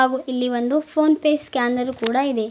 ಹಾಗು ಇಲ್ಲಿ ಒಂದು ಫೋನ್ ಪೇ ಸ್ಕ್ಯಾನರ್ ಕೂಡ ಇದೆ.